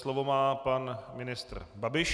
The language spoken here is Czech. Slovo má pan ministr Babiš.